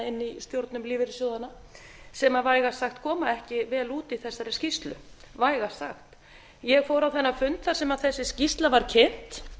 inni í stjórnum lífeyrissjóðanna sem vægast sagt koma ekki vel út í þessari skýrslu vægast sagt ég fór á þennan fund þar sem þessi skýrsla var kynnt